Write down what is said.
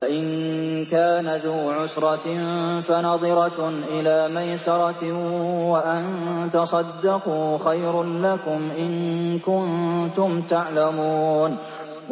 وَإِن كَانَ ذُو عُسْرَةٍ فَنَظِرَةٌ إِلَىٰ مَيْسَرَةٍ ۚ وَأَن تَصَدَّقُوا خَيْرٌ لَّكُمْ ۖ إِن كُنتُمْ تَعْلَمُونَ